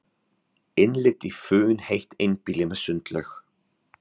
Innlit í funheitt einbýli með sundlaug